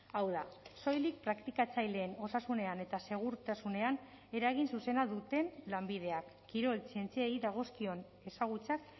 hau da soilik praktikatzaileen osasunean eta segurtasunean eragin zuzena duten lanbideak kirol zientziei dagozkion ezagutzak